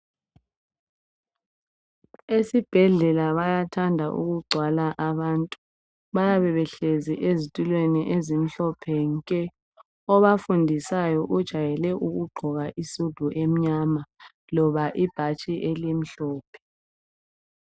Esibhedlela bayathanda ukugcwala abantu, bayabe behlezi ezitulweni ezimhlophe nke. Obafundisayo ujayele ukugqoka isudu emnyam loba ibhatshi elimhlophe